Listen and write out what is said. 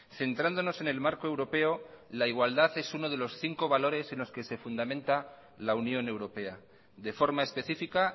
centrándonos en el marco europeo la igualdad es uno de los cinco valores en los que se fundamenta la unión europea de forma específica